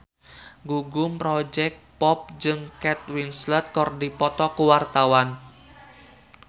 Gugum Project Pop jeung Kate Winslet keur dipoto ku wartawan